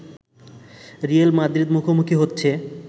real Madrid মুখোমুখি হচ্ছে